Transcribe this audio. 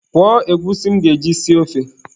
Kwọọ egwusi m ga-eji sie ofe.